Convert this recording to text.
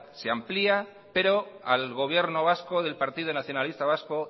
se amplia pero al gobierno vasco y al partido nacionalista vasco